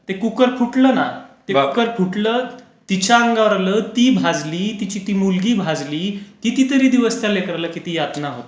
ते कुकर फुटलं ना. कुकर फुटलं, तिच्या अंगावर आलं, ती भाजली, तिची ती मुलगी भाजली, कितीतरी दिवस त्या लेकराला कितीतरी यातना होत होत्या.